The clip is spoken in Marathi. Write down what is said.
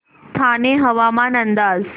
ठाणे हवामान अंदाज